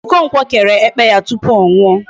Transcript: Okonkwo kere ekpe ya tupu ọ nwụọ.